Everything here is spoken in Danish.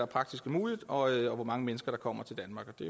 praktisk muligt og hvor mange mennesker der kommer til danmark det